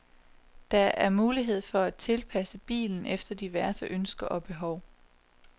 Der er mulighed for at tilpasse bilen efter diverse ønsker og behov.